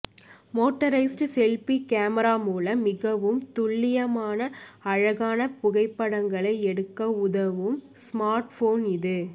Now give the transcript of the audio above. motorised selfie camera மூலம் மிகவும் துல்லியமான அழகான புகைப்படங்களை எடுக்க உதவும் ஸ்மார்ட்போன் இது